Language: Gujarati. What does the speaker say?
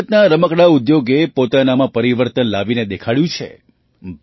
ભારતના રમકડાં ઉદ્યોગે પોતાનામાં પરિવર્તન લાવીને દેખાડ્યું છે